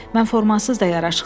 Mən formasız da yaraşıqlıyam.